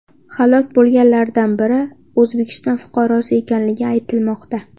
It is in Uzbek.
Halok bo‘lganlardan biri O‘zbekiston fuqarosi ekanligi aytilmoqda .